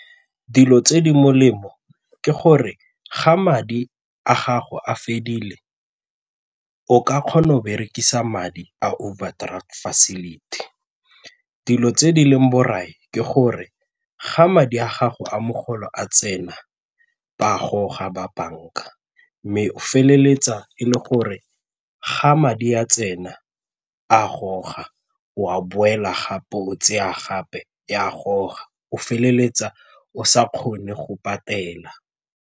Dilo tse di molemo ke gore ga madi a gago a fedile o ka kgona go berekisa madi a overdraft facility. Dilo tse di leng borai, ke gore ga madi a gago a mogolo a tsena ba a goga ba banka mme o feleletsa e le gore ga madi a tsena a goga o a boela gape o tseya gape ba a goga o feleletsa o sa kgone go patela.